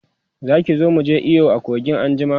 Zaki zo muje iyo a kogin anjima?